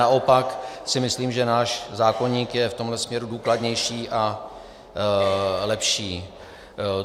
Naopak si myslím, že náš zákoník je v tomhle směru důkladnější a lepší.